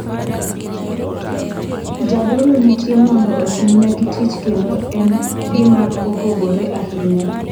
Jadolo nitie mondo otimnegi tich kendo en gima opogore ahinya.